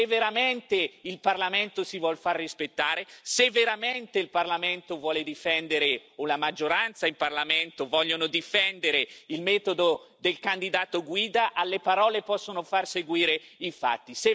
Se veramente il Parlamento si vuol far rispettare, se veramente il Parlamento, o la maggioranza in Parlamento, vogliono difendere il metodo del candidato guida, alle parole possono far seguire i fatti.